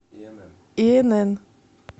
инн